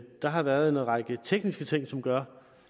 der har været en række tekniske ting som gør